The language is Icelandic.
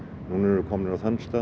núna erum við komin á þann stað